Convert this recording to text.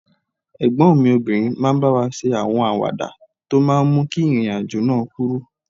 Ẹ̀gbọ́n mi obìnrin máa ń bá wa ṣe àwọn àwàdà tó máa ń mú kí ìrìn àjò náà kúrú